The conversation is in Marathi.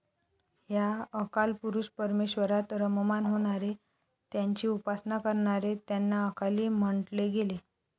ह्या अकालपुरुष परमेश्वरात रममाण होणारे, त्यांची उपासना करणारे त्यांना 'अकाली' म्हंटले गेले.